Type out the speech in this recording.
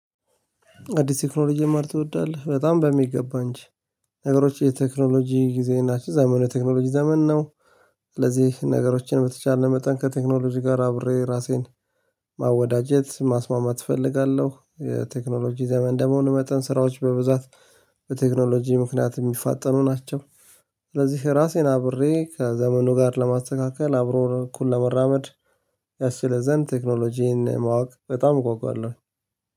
አዲስ ቴክኖሎጂ መማር ትወዳለህ? በጣም በሚገባ እንጂ ነገሮች የቴክኖሎጂ ጊዜ ናቸው። ዘመኑ የቴክኖሎጂ ዘመን ነው። ስለዚህ ነገሮችን በተቻለ መጠን ከቴክኖሎጂ ጋር አብሬ ራሴን ማወዳጀት ማስማማት እፈልጋለሁ። የቴክኖሎጂ ዘመን ደግሞ እንደመሆኑ መጠን ስራዎች በብዛት በቴክኖሎጂ ምክንያት የሚፋጠኑ ናቸው። ስለዚህ ራሴን አብሬ ከዘመኑ ጋር ለማስተካከል አብሮ እኩል ለመራመድ ያስችለን ዘንድ ቴክኖሎጂን ማወቅ በጣም እጓጓለሁ።